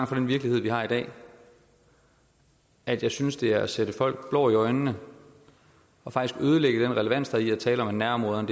fra den virkelighed vi har i dag at jeg synes at det er at stikke folk blår i øjnene og faktisk ødelægge den relevans der er i at tale om at nærområderne